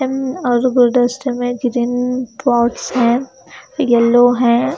और गुलदस्ते में ग्रीन पॉड्स हैं येलो हैं।